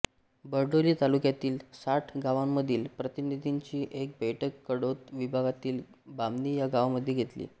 बारडोली तालुक्यातील साठ गांवांमधील प्रतिनिधींची एक बैठक कडोद विभागातील बामणी या गावामध्ये घेतली